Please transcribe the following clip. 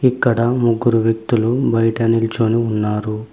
ఇక్కడ ముగ్గురు వ్యక్తులు బయట నిల్చోని ఉన్నారు.